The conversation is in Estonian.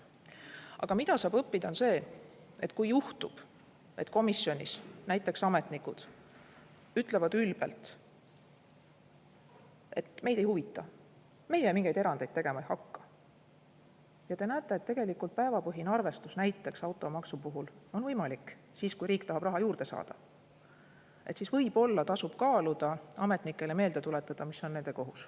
Aga mida saab õppida, on see, et kui juhtub, et komisjonis näiteks ametnikud ütlevad ülbelt, et meid ei huvita, meie mingeid erandeid tegema ei hakka, teie aga näete, et tegelikult päevapõhine arvestus näiteks automaksu puhul on võimalik, kui riik tahab raha juurde saada, siis võib-olla tasub kaaluda ametnikele meelde tuletada, mis on nende kohus.